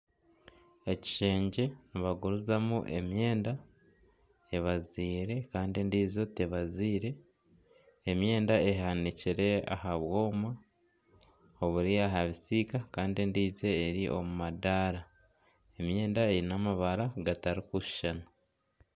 Ekishengye nibagurizamu emyenda ebaziire kandi endiijo tebaziire. Emyenda ehanikire aha bwoma oburi aha bisiika kandi endiijo eri omu madaara. Emyenda eine amabara gatari kushushana.